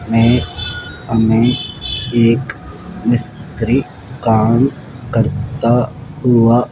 मे हमे एक मिस्त्री काम करता हुआ --